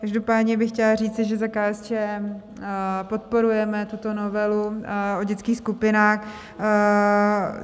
Každopádně bych chtěla říct, že za KSČM podporujeme tuto novelu o dětských skupinách.